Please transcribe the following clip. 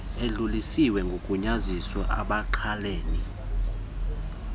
edluliselwe kogunyaziwe abangqalene